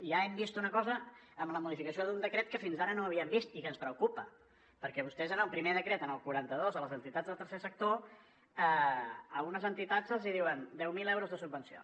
ja hem vist una cosa amb la modificació d’un decret que fins ara no havíem vist i que ens preocupa perquè vostès en el primer decret en el quaranta dos a les entitats del tercer sector a unes entitats els diuen deu mil euros de subvenció